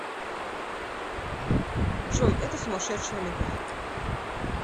джой это сумасшедшая любовь